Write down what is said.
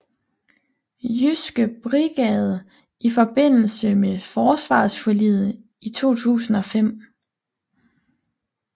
Jyske brigade i forbindelse med forsvarsforliget i 2005